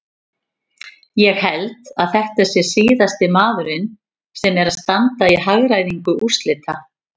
Ég held að þetta sé síðasti maðurinn sem er að standa í hagræðingu úrslita.